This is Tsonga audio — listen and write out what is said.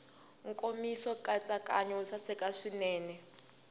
nkomiso nkatsakanyo wo saseka swinene